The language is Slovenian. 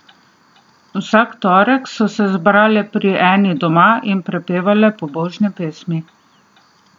Vsak torek so se zbrale pri eni doma in prepevale pobožne pesmi.